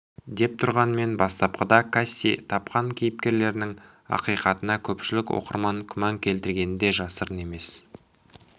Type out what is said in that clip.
дей тұрғанмен бастапқыда касси тапқан кейіпкерлерінің ақиқатына көпшілік оқырман күмән келтіргені де жасырын емес